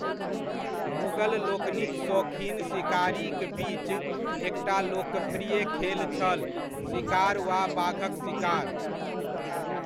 मुगल लोकनिक सोखीन सिकारीक बीच एकटा लोकप्रिय खेल छल सिकार वा बाघक सिकार।